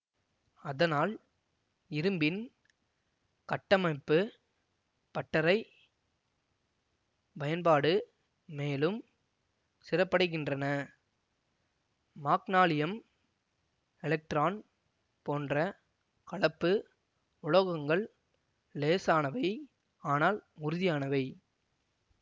அதனால் இரும்பின் கட்டமைப்பு பட்டறை பயன்பாடு மேலும் சிறப்படைகின்றன மாக்னாலியம் எலெக்ட்ரான் போன்ற கலப்பு உலோகங்கள் இலேசானவை ஆனால் உறுதியானவை